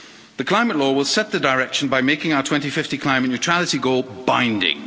The Climate Law will set the direction by making our 2050 climate neutrality goal binding.